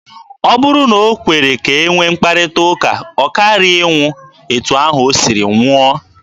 Ọ bụrụ na o kwere ka e nwee mkparịta ụka, ọ karaghị ịnwụ etu ahụ o siri nwụọ.